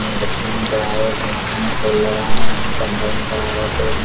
यहाँ बच्चियाँ नजर आ रही है जिनके माते में फुल लगे हुए है जंगल में--